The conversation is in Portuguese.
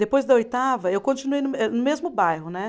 Depois da oitava, eu continuei no me, no mesmo bairro, né?